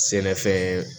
Sɛnɛfɛn